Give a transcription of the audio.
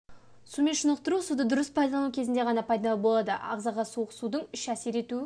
сумен шынықтыру суды дұрыс пайдалану кезінде ғана пайдалы болады ағзаға суық судың үш әсер ету